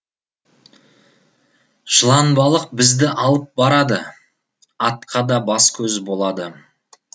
жыланбалық бізді алып барады атқа да бас көз болады